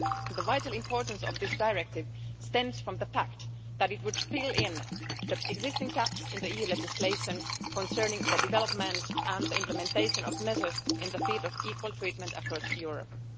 The vital importance of this Directive stems from the fact that it would fill in the existing gaps in the EU legislation concerning the development and the implementation of measures in the field of equal treatment across Europe.